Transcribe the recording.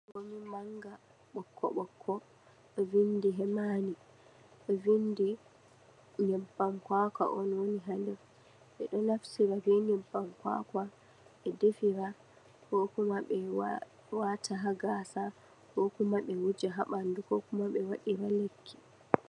Manga ɓokko-ɓokko ɗo vindi hemani, ɗo vindi nyebbam kwakwa on woni ha nder mai, ɓe ɗo naftira be nyebbam kwakwa on be defira, ko kuma be wata ha gaasa, ko kuma be wadira lekki.